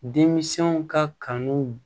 Denmisɛnw ka kanu